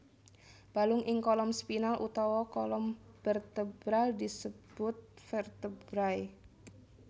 Balung ing kolom spinal utawa kolom bertebral disebut vertebrai